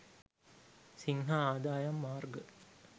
සිංහ ආදායම් මාර්ග